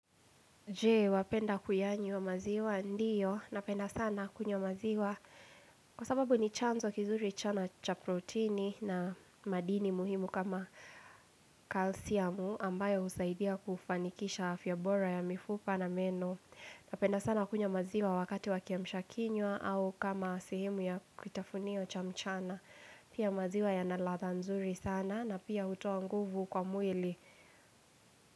Je, wapenda kuyanywa maziwa ndiyo, napenda sana kunywa maziwa Kwa sababu ni chanzo kizuri chana cha proteini na madini muhimu kama kalsiamu ambayo husaidia kufanikisha afya bora ya mifupa na meno Napenda sana kunywa maziwa wakati wakiamshakinywa au kama sehemu ya kutafunio cha mchana Pia maziwa yanaladha nzuri sana na pia hutoa nguvu kwa mwili.